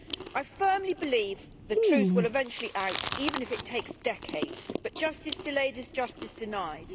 I firmly believe the truth will eventually out, even if it takes decades, but justice delayed is justice denied.